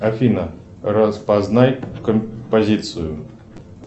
афина распознай композицию